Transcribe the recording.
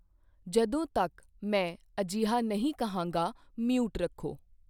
ਜਦੋਂ ਤੱਕ ਮੈਂ ਅਜਿਹਾ ਨਹੀਂ ਕਹਾਂਗਾ ਮਿਊਟ ਰੱਖੋ।